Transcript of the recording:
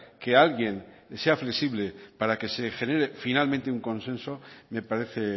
que alguien sea flexible para que se genere finalmente un consenso me parece